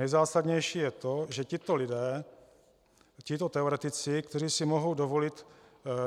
Nejzásadnější je to, že tito lidé, tito teoretici, kteří si mohou dovolit